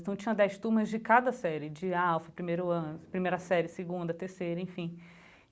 Então, tinham dez turmas de cada série de alfa, primeiro ano primeira série, segunda, terceira, enfim.